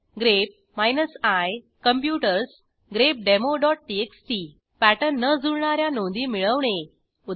grep i computers grepdemoटीएक्सटी pattern न जुळणा या नोंदी मिळवणे उदा